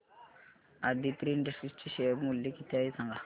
Aditri industries चे share मूल्य किती आहे सांगा